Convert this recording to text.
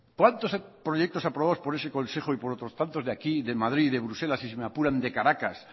cuántos proyectos aprobados por ese consejo y por otros tantos de aquí y de madrid y de bruselas y si me apuran de caracas